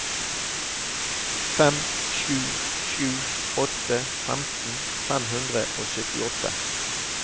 fem sju sju åtte femten fem hundre og syttiåtte